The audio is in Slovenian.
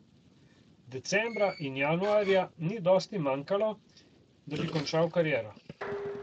Decembra in januarja ni dosti manjkalo, da bi končal kariero.